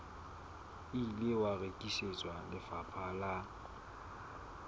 ile wa rekisetswa lefapha la